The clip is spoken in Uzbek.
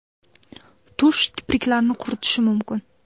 Tush kipriklarni quritishi mumkin.